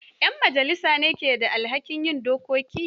Ƴn majalisa ne ke da alhakin yin dokoki